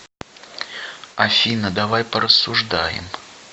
афина давай порассуждаем